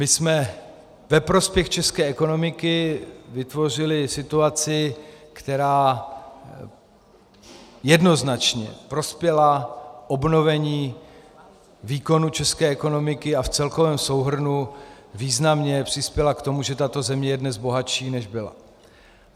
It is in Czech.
My jsme ve prospěch české ekonomiky vytvořili situaci, která jednoznačně prospěla obnovení výkonu české ekonomiky a v celkovém souhrnu významně přispěla k tomu, že tato země je dnes bohatší, než byla.